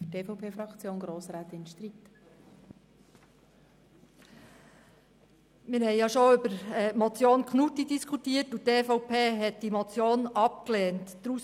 Wir haben bereits über die Motion Knutti diskutiert, welche die EVP abgelehnt hat.